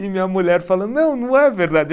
E minha mulher falando, não, não é verdade.